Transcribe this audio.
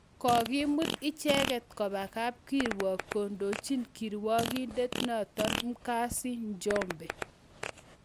Kakimut icheket koba kapkirwogiin kondochin kirwagindet notok Mkazi Njombe